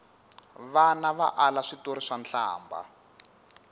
vana va ala switori swa nhlambha